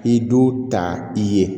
I du ta i ye